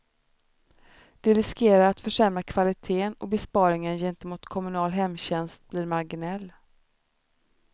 Det riskerar att försämra kvaliteten och besparingen gentemot kommunal hemtjänst blir marginell.